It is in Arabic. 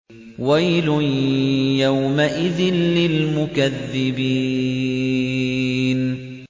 وَيْلٌ يَوْمَئِذٍ لِّلْمُكَذِّبِينَ